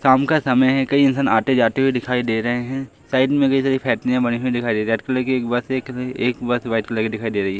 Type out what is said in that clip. शाम का समय है। कई इंसान आते-जाते हुए दिखाई दे रहे हैं। साइड कई सारी बनी हुई दिखाई दे रही है। रेड कलर की एक बस दिख रही है एक बस व्हाईट कलर की दिखाई दे रही।